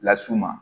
Las'u ma